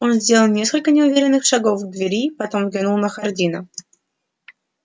он сделал несколько неуверенных шагов к двери потом взглянул на хардина